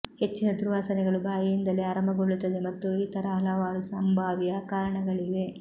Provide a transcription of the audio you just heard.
ಹೆಚ್ಚಿನ ದುರ್ವಾಸನೆಗಳು ಬಾಯಿಯಿಂದಲೇ ಆರಂಭಗೊಳ್ಳುತ್ತವೆ ಮತ್ತು ಇತರ ಹಲವಾರು ಸಂಭಾವ್ಯ ಕಾರಣಗಳಿವೆ